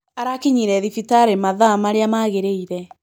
Arakinyire thibitarĩ mathaa marĩa magĩrĩire.